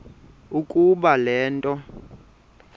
ukuba le nto